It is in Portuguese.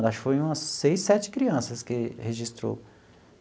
Acho que foi umas seis, sete crianças que registrou.